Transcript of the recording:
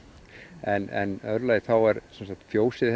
en í öðru lagi þá hefur fjósið